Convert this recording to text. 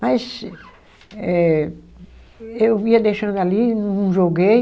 Mas eh, eu ia deixando ali, não joguei,